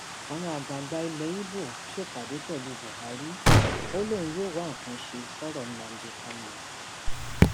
àwọn àgbààgbà ilẹ ibo ṣèpàdé pẹlú buhari ó lóun yóò wá nǹkan ṣe sọrọ nnamdi kanu